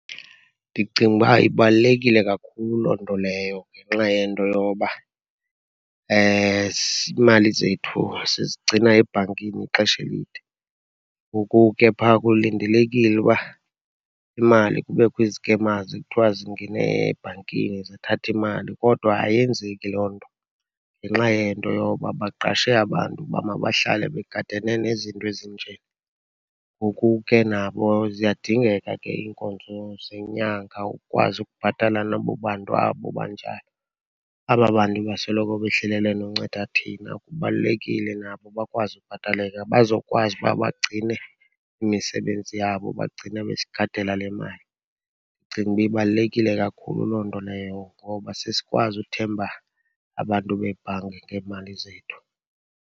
Ndicinga uba ibalulekile kakhulu loo nto leyo ngenxa yento yoba iimali zethu sizigcina ebhankini ixesha elide. Ngoku ke phaa kulindelekile uba imali kubekho i-scammers, kuthiwa zingene ebhankini zathatha imali, kodwa ayenzeki loo nto ngenxa yento yoba baqashe abantu uba mabahlale begadane nezinto ezinje. Ngoku ke, nabo ziyadingeka ke iinkonzo zenyanga, ukukwazi ukubhatala nabo bantu abo banjalo. Aba bantu basoloko behlelele nokunceda thina, kubalulekile nabo bakwazi ukubhataleka bazokwazi uba bagcine imisebenzi yabo, bagcine, besigadela le mali. Ndicinga uba ibalulekile kakhulu loo nto leyo ngoba sesikwazi uthemba abantu beebhanki ngeemali zethu.